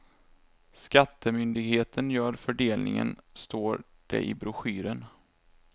Skattemyndigheten gör fördelningen står det i broschyren.